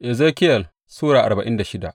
Ezekiyel Sura arba'in da shida